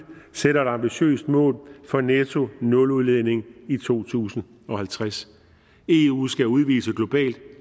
sætter et ambitiøst mål for nettonuludledning i to tusind og halvtreds eu skal udvise globalt